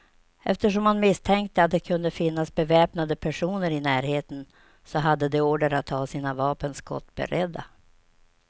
Eftersom man misstänkte att det kunde finnas beväpnade personer i närheten, så hade de order att ha sina vapen skottberedda.